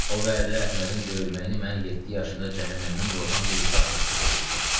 O vaxtı Əhmədin döyülməyini mən yeddi yaşında cəhənnəmdən qorxan bir uşaq təsdiq eliyirdim.